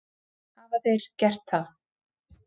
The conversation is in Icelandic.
Hafa þeir gert það?